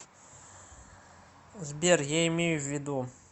сбер я имею в виду